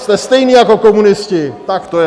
Jste stejní jako komunisti, tak to je.